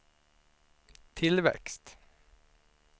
tillväxt